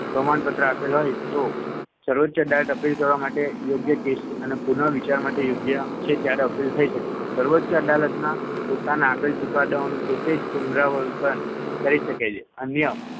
પ્રમાણપત્ર આપેલ હોય તો સર્વોચ્ય અદાલત appeal કરવા માટે યોગ્ય case અને પુનઃવિચાર માટે યોગ્ય છે ત્યારે appeal થઈ શકે છે. સર્વોચ્ય અદાલતના પોતાના આપેલ ચુકાદાઓનું પોતે જ પુનરાવર્તન કરી શકે છે.